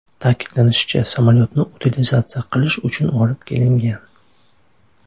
Ta’kidlanishicha, samolyotni utilizatsiya qilish uchun olib kelingan.